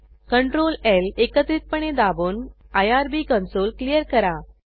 ctrl ल एकत्रितपणे दाबून आयआरबी कंसोल क्लियर करा